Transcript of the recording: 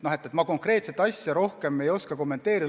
Ma konkreetset asja rohkem ei oska kommenteerida.